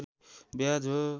ब्याज हो